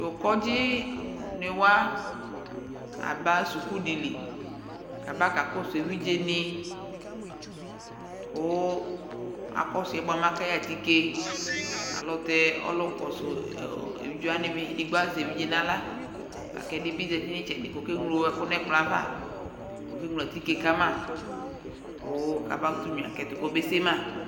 Tʋ kɔdzɩnɩ wa aba suku dɩ li kʋ abakakɔsʋ evidzenɩ kʋ akɔsʋ yɛ bʋa mɛ aka yɛ atike Alʋtɛ ɔlʋkɔsʋ ɔ evidze wanɩ dɩ bɩ edigbo evidze nʋ aɣla la kʋ ɛdɩ bɩ zati nʋ ɩtsɛdɩ kʋ ɔkeŋlo ɛkʋ nʋ ɛkplɔ yɛ ava kʋ ɔkeŋlo atike ka ma kʋ kabakʋtʋ nyuǝ kʋ ɛtʋ kɔbese ma